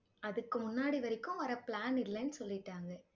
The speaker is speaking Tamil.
அதுக்கு முன்னாடி வரைக்கும் வர plan இல்லன்னு சொல்லிட்டாங்க